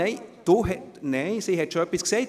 Sie hat bereits etwas gesagt.